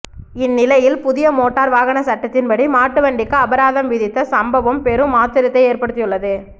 இந்நிலையில் புதிய மோட்டார் வாகன சட்டத்தின்படி மாட்டுவண்டிக்கு அபராதம் விதித்த சம்பவம் பெரும் ஆச்ரயத்தை ஏற்படுத்தியுள்ளது